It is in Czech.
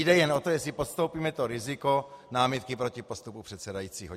Jde jen o to, jestli podstoupíme to riziko námitky proti postupu předsedajícího.